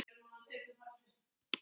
MEÐLÆTI passar hverjum grunni.